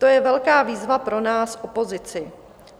To je velká výzva pro nás, opozici.